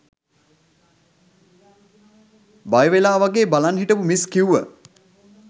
බය වෙලා වගේ බලන් හිටපු මිස් කිව්ව